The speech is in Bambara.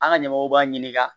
An ka ɲɛmɔgɔw b'a ɲininka